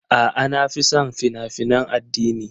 A'a, na fi son fina-finan addini.